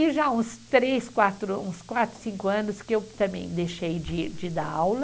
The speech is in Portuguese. E já uns três, quatro, uns quatro, cinco anos que eu também deixei de de dar aula.